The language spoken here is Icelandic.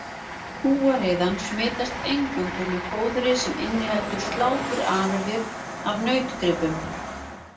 Kúariðan smitast eingöngu með fóðri sem inniheldur sláturafurðir af nautgripum.